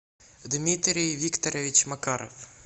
дмитрий викторович макаров